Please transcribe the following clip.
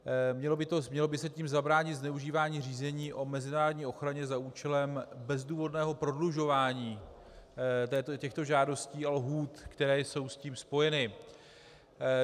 Mělo by se tím zabránit zneužívání řízení o mezinárodní ochraně za účelem bezdůvodného prodlužování těchto žádostí a lhůt, které jsou s tím spojeny.